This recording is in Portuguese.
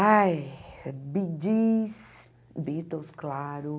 Ai, Bee Gees, Beatles, claro.